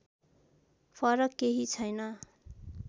फरक केही छैन